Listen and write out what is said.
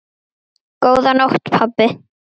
Auðan blett ég áðan sá.